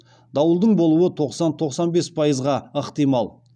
дауылдың болуы тоқсан тоқсан бес пайызға ықтимал